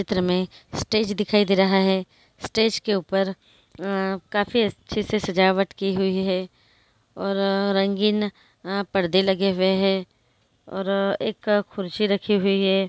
चित्र मे स्टेज दिखाई दे रहा है स्टेज के ऊपर अ काफी अच्छे से सजावट की हुई है और रंगीन अ परदे लगे हुए है और एक कुर्सी रखी हुई है।